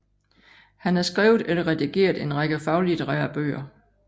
Han har skrevet eller redigeret en række faglitterære bøger